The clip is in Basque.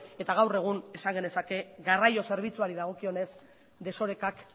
eta gaur egun esan genezake garraio zerbitzuari dagokionez desorekak